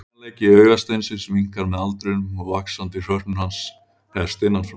Teygjanleiki augasteinsins minnkar með aldrinum og vaxandi hrörnun hans hefst innan frá.